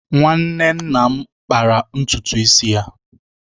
Nwanne nna m kpara ntutu isi ya